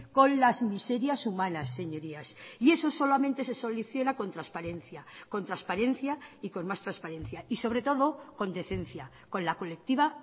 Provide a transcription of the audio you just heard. con las miserias humanas señorías y eso solamente se soluciona con transparencia con transparencia y con más transparencia y sobre todo con decencia con la colectiva